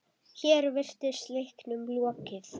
Hér virtist leiknum lokið.